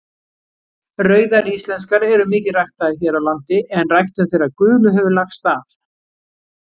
Rauðar íslenskar eru mikið ræktaðar hér á landi en ræktun þeirra gulu hefur lagst af.